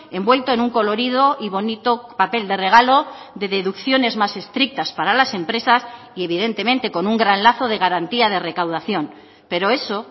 envuelto en un colorido y bonito papel de regalo de deducciones más estrictas para las empresas y evidentemente con un gran lazo de garantía de recaudación pero eso